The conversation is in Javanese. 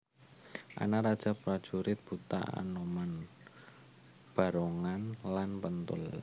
Ana raja prajurit buta anoman barongan lan penthul